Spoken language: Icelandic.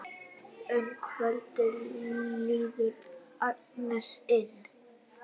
Um kvöldið lítur Agnes inn.